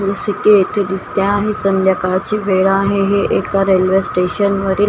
सिके येथे दिसते आहे संध्याकाळची वेळ आहे हे एका रेल्वे स्टेशनवरील --